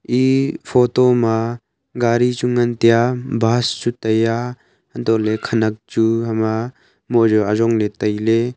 e photo ma gari chu ngan tai a bus chu tai a antoh le khanak chu hama moh jao ajong le taile.